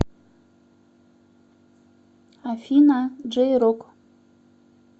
афина джей рок